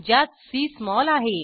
ज्यात C small आहे